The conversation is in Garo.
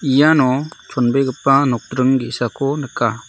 iano chonbegipa nokdring ge·sako nika.